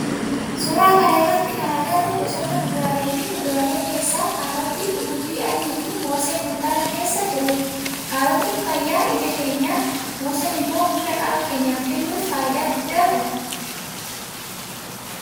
Suuraa kana irratti kana agarru gosoota kuduraalee fi muduralee keessaa kaarootii, qullubbii adii fi moosee kuntaala keessa jirudha. Kaarootin fayyaa ija keenyaf, mooseen immoo humna qaama keenyaf kennuuf faayidaa guddaa qabu.